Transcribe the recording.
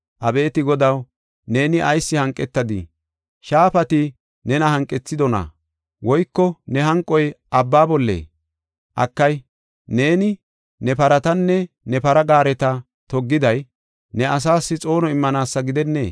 Abeeti Godaw, neeni ayis hanqetadii? Shaafati nena hanqethidona? Woyko ne hanqoy abba bollee? Akay, neeni ne paratanne ne para gaareta toggiday ne asaas xoono immanaasa gidennee?